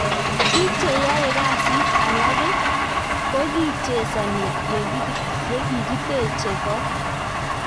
Bik che yaekasit alake kokichesani yakikiteche kot.